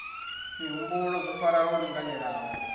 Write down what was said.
mihumbulo zwo farana lwo linganelaho